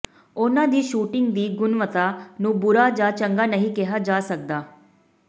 ਉਨ੍ਹਾਂ ਦੀ ਸ਼ੂਟਿੰਗ ਦੀ ਗੁਣਵੱਤਾ ਨੂੰ ਬੁਰਾ ਜਾਂ ਚੰਗਾ ਨਹੀਂ ਕਿਹਾ ਜਾ ਸਕਦਾ